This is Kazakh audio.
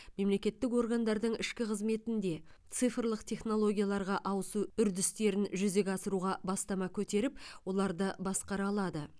мемлекеттік органдардың ішкі қызметінде цифрлық технологияларға ауысу үрдістерін жүзеге асыруға бастама көтеріп оларды басқара алады